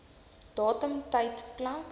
datum tyd plek